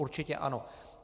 Určitě ano.